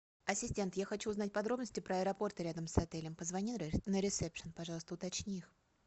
ассистент я хочу узнать подробности про аэропорты рядом с отелем позвони на ресепшн пожалуйста уточни